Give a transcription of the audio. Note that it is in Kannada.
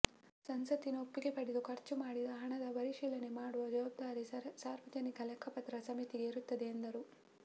ಸಂಸತ್ತಿನ ಒಪ್ಪಿಗೆ ಪಡೆದು ಖರ್ಚು ಮಾಡಿದ ಹಣದ ಪರಿಶೀಲನೆ ಮಾಡುವ ಜವಾಬ್ದಾರಿ ಸಾರ್ವಜನಿಕ ಲೆಕ್ಕಪತ್ರ ಸಮಿತಿಗೆ ಇರುತ್ತದೆ ಎಂದರು